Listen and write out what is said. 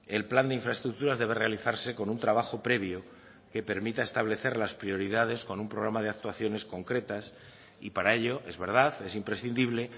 el plan de infraestructuras debe realizarse con un trabajo previo que permita establecer las prioridades con un programa de actuaciones concretas y para ello es verdad es imprescindible